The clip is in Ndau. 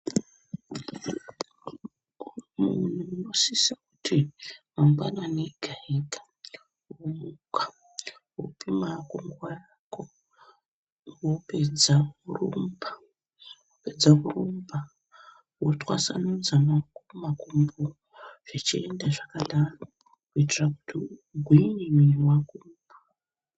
Munhu unosisa kuti mangwanani ega ega womuka, wopima hako nguva yako, wopedza worumba. Wapedza kurumba, wotwasanudza maoko, makumbo, zvichienda zvakadaro kuitira kuti ugwinye muviri wako.